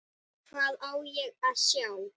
Lætur lyklana í vasann.